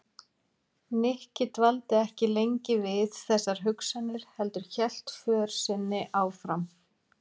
Nikki dvaldi ekki lengi við þessar hugsanir heldur hélt för sinni áfram.